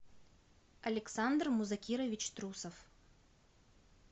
александр музакирович трусов